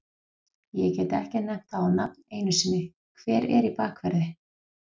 Ég get ekki nefnt það á nafn einu sinni, hver er í bakverði?